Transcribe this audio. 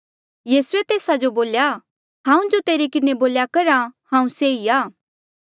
यीसूए तेस्सा जो बोल्या हांऊँ जो तेरे किन्हें बोल्या करहा हांऊँ से ई आ